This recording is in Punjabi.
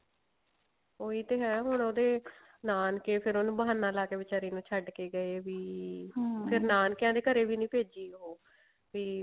ਉਹੀ ਤੇ ਹੈ ਹੁਣ ਉਹਦੇ ਨਾਨਕੇ ਫ਼ੇਰ ਬਹਾਨਾ ਲਾ ਕੇ ਬਚਾਰੀ ਨੂੰ ਛੱਡ ਕੇ ਗਏ ਵੀ ਨਾਨਕਿਆਂ ਦੇ ਘਰੇ ਵੀ ਨੀ ਭੇਜੀ ਉਹ ਵੀ